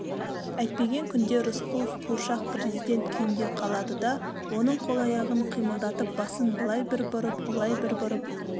әйтпеген күнде рысқұлов қуыршақ президент күйінде қалады да оның қол-аяғын қимылдатып басын былай бір бұрып олай бір бұрып